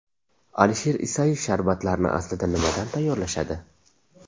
Alisher Isayev Sharbatlarni aslida nimadan tayyorlashadi?